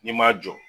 N'i ma jɔ